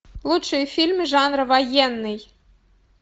лучшие фильмы жанра военный